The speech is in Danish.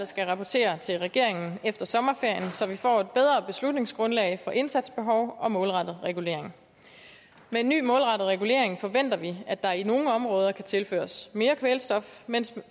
skal rapportere til regeringen efter sommerferien så vi får et bedre beslutningsgrundlag for indsatsbehov og målrettet regulering med en ny målrettet regulering forventer vi at der i nogle områder kan tilføres mere kvælstof mens